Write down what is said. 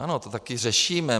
Ano, to taky řešíme.